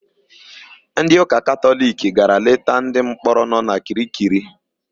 Ndịụka Katọliki gara leta ndịmkpọrọ nọ na Kirikiri.